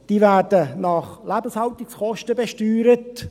Sie werden nach Lebenshaltungskosten besteuert.